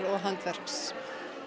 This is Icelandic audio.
og handverks